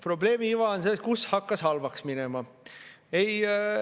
Probleemi iva on selles, kus hakkas halvaks minema.